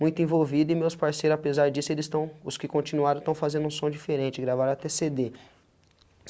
muito envolvido e meus parceiros, apesar disso, eles estão... os que continuaram estão fazendo um som diferente, gravaram até cê dê.